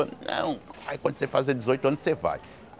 Não aí quando você fazer dezoito anos, você vai.